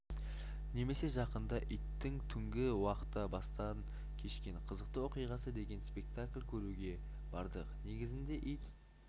немесе жақында иттің түнгі уақта бастан кешкен қызықты оқиғасы деген спектакль көруге бардық негізінде ит